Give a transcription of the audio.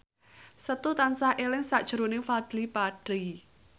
Setu tansah eling sakjroning Fadly Padi